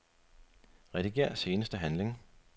Rediger seneste handling.